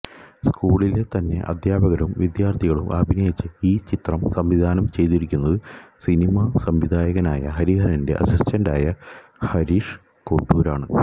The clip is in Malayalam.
സ്കൂളിലെ തന്നെ അദ്ധ്യാപകരും വിദ്യാര്ഥികളും അഭിനയിച്ച ഈ ചിത്രം സംവിധാനം ചെയ്തിരിക്കുന്നത് സിനിമാ സംവിധായകനായ ഹരിഹരന്റെ അസിസ്റ്റന്റായ ഹരീഷ് കോട്ടൂരാണ്